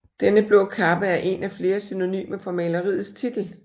Denne blå kappe er en af flere synonymer for maleriets titel